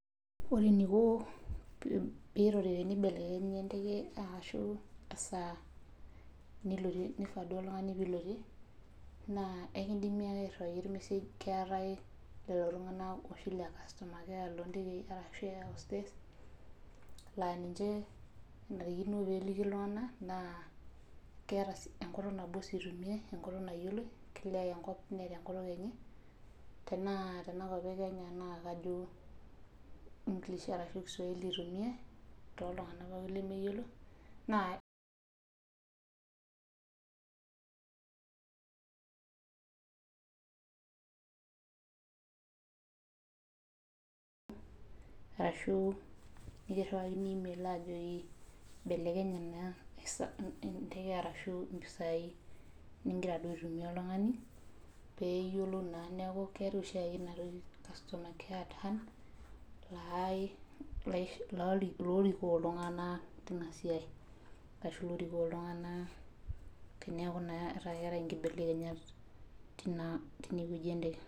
Ore eniko pee eibelekenya esaa nigiraa duo alotie naa akidimi ake airiwaki ormesaj keetae lelo tung'ana lee kastoma keya loo ntekei laa ninche kenarikino pee eliki iltung'ana naa enkutuk nabo sii eitumiai enkutuk nayioloi kila enkop Neeta enkutuk enye tenaa tenakop Kenya naa kajo English ashu kiswahili eitumiai too iltung'ana pookin lemeyiolo arashu kiriwakini email aliki ajoki eibelekenye naa enteke ashuu mpisai nigira duo aitumia oltung'ani lee eyiolou naa oltung'ani neeku keetae oshiake ena toki ee kastoma keya lorikoo iltung'ana teinaa siai ashu looriko iltung'ana tenekuu keetae enkibelenyat naa teine wueji enteke